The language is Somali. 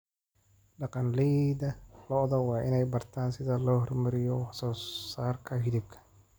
Dhaqanleyda lo'du waa inay bartaan sida loo horumariyo wax soo saarka hilibka.